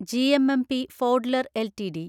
GMMP Fodler LTD